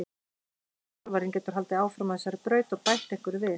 Nýi þjálfarinn getur haldið áfram á þessari braut og bætt einhverju við.